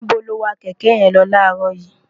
níbo lo wa kẹ̀kẹ́ yẹn lọ láàárọ̀ yìí?